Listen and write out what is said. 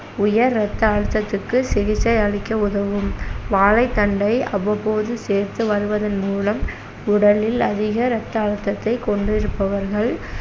உயர் ரத்த அழுத்தத்துக்கு சிகிச்சை அளிக்க உதவும் வாழைத்தண்டை அவ்வப்போது சேர்த்து வருவதன் மூலம் உடலில் அதிக ரத்த அழுத்தத்தைக் கொண்டிருப்பவர்கள்